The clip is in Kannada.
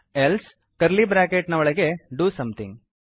ಎಲ್ಸೆ ಕರ್ಲಿ ಬ್ರ್ಯಾಕೆಟ್ ನ ಒಳಗೆ ಡಿಒ ಸೋಮೆಥಿಂಗ್